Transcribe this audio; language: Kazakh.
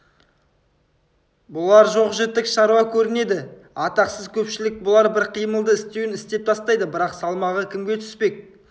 бұлар жоқ-жітік шаруа көрінеді атақсыз көпшілік бұлар бір қимылды істеуін істеп тастайды бірақ салмағы кімге түспек